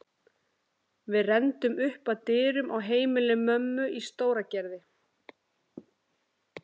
Við renndum upp að dyrum á heimili mömmu í Stóragerði.